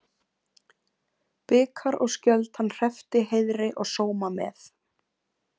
Bikar og skjöld hann hreppti heiðri og sóma með.